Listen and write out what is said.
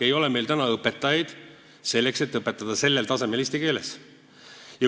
Meil ei ole täna õpetajaid, selleks et eesti keeles vajalikul tasemel õpetada.